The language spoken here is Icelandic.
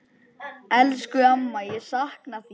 Elsku amma, ég sakna þín.